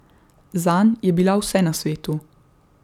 Zanj je bila vse na svetu.